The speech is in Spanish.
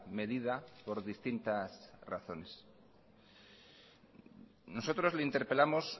medida por distintas razones nosotros le interpelamos